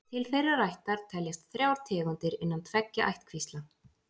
Til þeirrar ættar teljast þrjár tegundir innan tveggja ættkvísla.